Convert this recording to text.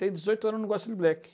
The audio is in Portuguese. Tem dezoito anos e não gosta de black.